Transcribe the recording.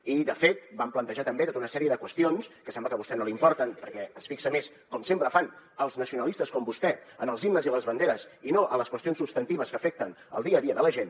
i de fet vam plantejar també tota una sèrie de qüestions que sembla que a vostè no li importen perquè es fixa més com sempre fan els nacionalistes com vostè en els himnes i les banderes i no en les qüestions substantives que afecten el dia a dia de la gent